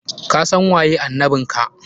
Kasan waye annabin ka!